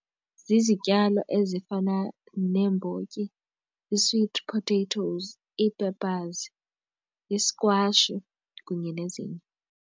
Zizityalo ezifana neembotyi, ii-sweet potatoes, ii-peppers i-squash kunye nezinye.